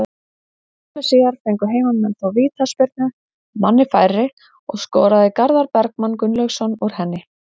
Skömmu síðar fengu heimamenn þó vítaspyrnu, manni færri, og skoraði Garðar Bergmann Gunnlaugsson úr henni.